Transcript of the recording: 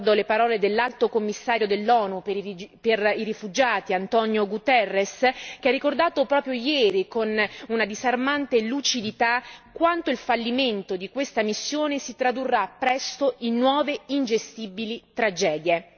Ricordo le parole dell'Alto Commissario dell'ONU per i rifugiati, António Guterres, che ha ricordato proprio ieri, con una disarmante lucidità, quanto il fallimento di questa missione si tradurrà presto in nuove, ingestibili tragedie.